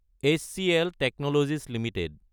HCL technologies Ltd